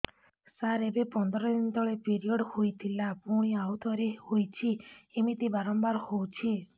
ସାର ଏବେ ପନ୍ଦର ଦିନ ତଳେ ପିରିଅଡ଼ ହୋଇଥିଲା ପୁଣି ଆଉଥରେ ହୋଇଛି ଏମିତି ବାରମ୍ବାର ହଉଛି